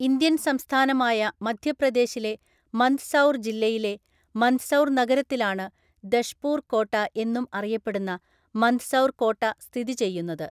Indian സംസ്ഥാനമായ മധ്യപ്രദേശിലെ മന്ദ്‌സൗർ ജില്ലയിലെ മന്ദ്‌സൗർ നഗരത്തിലാണ് ദഷ്പൂർ കോട്ട എന്നും അറിയപ്പെടുന്ന മന്ദ്‌സൗർ കോട്ട സ്ഥിതി ചെയ്യുന്നത്.